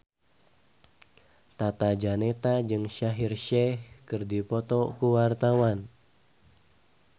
Tata Janeta jeung Shaheer Sheikh keur dipoto ku wartawan